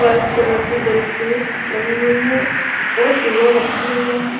White colour की bed sheet लगी हुई है और पिलो रखे हुए हैं।